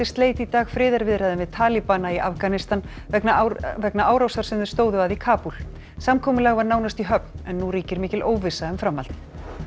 sleit í dag friðarviðræðum við í Afganistan vegna vegna árásar sem þeir stóðu að í Kabúl samkomulag var nánast í höfn en nú ríkir mikil óvissa um framhaldið